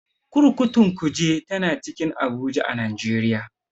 Kurkukun Kuje tana cikin Abuja a Najeriya.